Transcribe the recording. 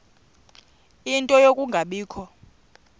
ie nto yokungabikho